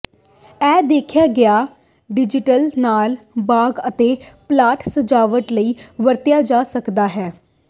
ਇਹ ਦੇਖਿਆ ਗਿਆ ਡਿਜ਼ਾਇਨ ਨਾਲ ਬਾਗ ਅਤੇ ਪਲਾਟ ਸਜਾਵਟ ਲਈ ਵਰਤਿਆ ਜਾ ਸਕਦਾ ਹੈ